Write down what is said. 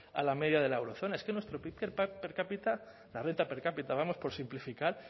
a la media de la eurozona es que nuestro pib per cápita la renta per cápita vamos por simplificar